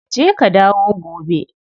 Je ka dawo gobe.